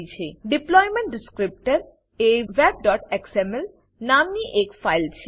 deployment descriptor deployment descriptor એ web XML નામની એક ફાઈલ છે